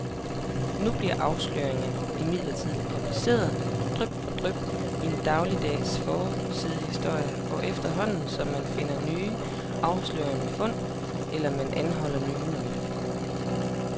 Nu bliver afsløringerne imidlertid publiceret dryp for dryp i daglige forsidehistorier, efterhånden som man finder nye afslørende fund, eller man anholder nye nøglefigurer.